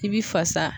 I bi fasa